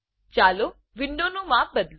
ચાલો વિન્ડો નું માપ બદલું